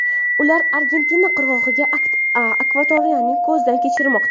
Ular Argentina qirg‘og‘idagi akvatoriyani ko‘zdan kechirmoqda.